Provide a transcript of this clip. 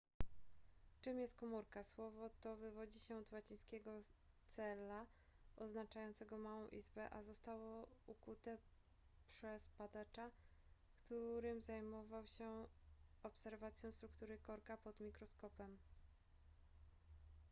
czym jest komórka słowo to wywodzi się od łacińskiego cella oznaczającego małą izbę a zostało ukute przez badacza którym zajmował się obserwacją struktury korka pod mikroskopem